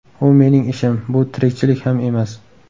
U mening ishim, bu tirikchilik ham emas.